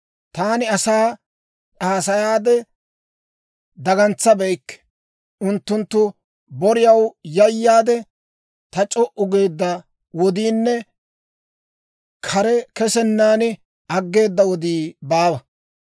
Taani asaa haasayaade dagamabeykke; unttunttu boriyaw yayaade, taani c'o"u geedda wodiinne kare kesennan aggeeda wodii baawa.